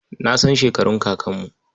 Na san shekarun kakanmu.